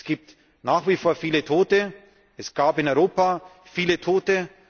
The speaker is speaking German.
Es gibt nach wie vor viele Tote, es gab in Europa viele Tote.